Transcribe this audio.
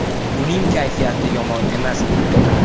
Uning kayfiyati yomon emas edi.